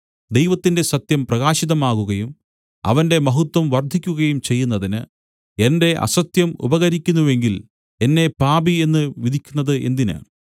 ദൈവത്തിന്റെ സത്യം പ്രകാശിതമാകുകയും അവന്റെ മഹത്വം വർദ്ധിക്കുകയും ചെയ്യുന്നതിന് എന്റെ അസത്യം ഉപകരിക്കുന്നുവെങ്കിൽ എന്നെ പാപി എന്നു വിധിക്കുന്നതു എന്തിന്